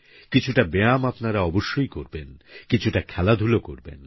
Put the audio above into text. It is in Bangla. কিছুটা ব্যায়াম আপনারা অবশ্যই করবেন কিছুটা খেলাধুলো করবেন